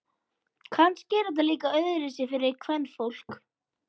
Kannski er þetta líka öðruvísi fyrir kvenfólk.